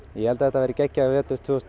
ég held að það verði geggjaður vetur tvö þúsund